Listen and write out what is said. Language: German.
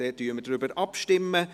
Somit stimmen wir darüber ab.